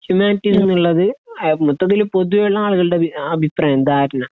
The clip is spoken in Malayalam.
ഹ്യൂമാനിറ്റീസ് ഉള്ളത് ഏഹ് മൊത്തത്തില് പൊതുവെ ഉള്ള ആളുകളുടെ വി അഭിപ്രായം ധാരണ